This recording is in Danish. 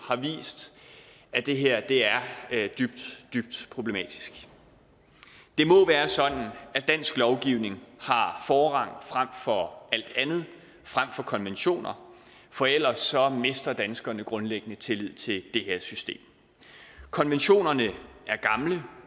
har vist at det her er dybt dybt problematisk det må være sådan at dansk lovgivning har forrang frem for alt andet frem for konventioner for ellers mister danskerne grundlæggende tillid til det her system konventionerne